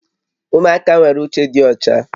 Ụmụaka nwere uche dị ọcha